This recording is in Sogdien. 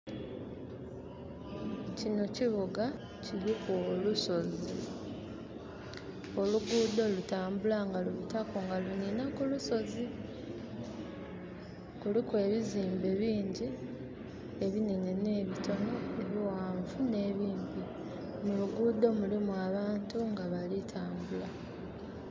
Kino kibuga kiliku olusozi olugudho lutambula nga lubitaku nga luninha kulusozi. Kuliku ebizimbe bingi ebinhenhe ne bitono, ebighanvu ne bimpi. Mu lugudho mulimu abantu nga bali tambula.